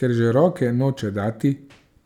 Ker že roke noče dati,